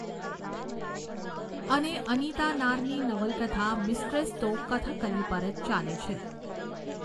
અને અનીતા નારની નવલકથા મીસ્ટ્રેસ તો કથકલી પર જ ચાલે છે.